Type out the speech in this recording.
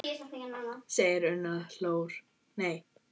segir Una Dóra og hlær.